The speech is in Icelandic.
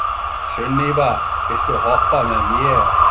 Sunníva, viltu hoppa með mér?